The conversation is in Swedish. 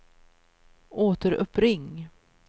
återuppring